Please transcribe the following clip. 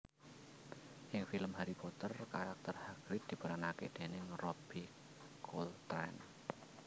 Ing film Harry Potter karakter Hagrid diperanaké déning Robbie Coltrane